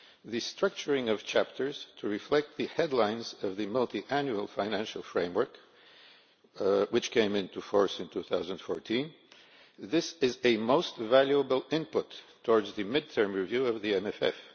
The structuring of chapters to reflect the headings of the Multiannual Financial Framework which came into force in 2014 is a most valuable input towards the mid term review of the MFF.